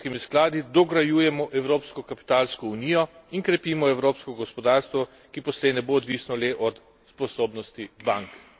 Skratka, z dolgoročnimi investicijskimi skladi dograjujemo evropsko kapitalsko unijo in krepimo evropsko gospodarstvo, ki poslej ne bo odvisno le od sposobnosti bank.